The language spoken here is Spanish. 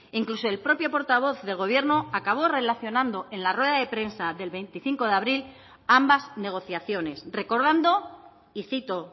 incluso el propio portavoz del gobierno acabó relacionando en la rueda de prensa del veinticinco de abril ambas negociaciones recordando y cito